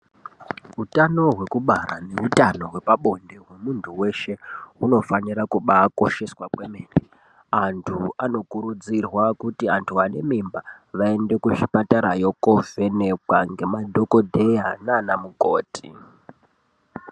Utano hwekubara neutano hwepabonde hwemunthu weshe unofanira kubaakosheswa kwemene, anthu anokurudzirwa kuti anthu ane mimba vaende kuchipatarayo koovhenekwa ngemadhokodheya nana mukoti.